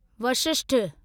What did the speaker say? Vashishtha